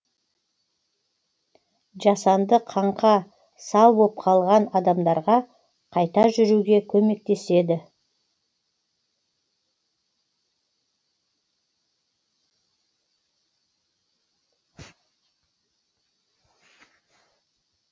жасанды қаңқа сал боп қалған адамдарға қайта жүруге көмектеседі